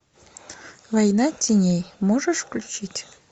война теней можешь включить